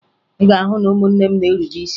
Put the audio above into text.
Ị ga-ahụ na ụmụnne m na-erube isi